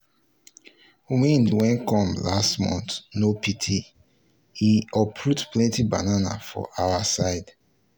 wind wey come last month no pity e uproot plenty banana for our side.